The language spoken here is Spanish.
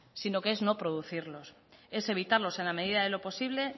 sino que es no producirlos es evitarlos en la medida de lo posible